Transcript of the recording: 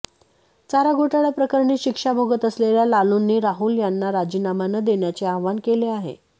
चारा घोटाळा प्रकरणी शिक्षा भोगत असलेल्या लालूंनी राहुल यांना राजीनामा न देण्याचे आवाहन केले आहे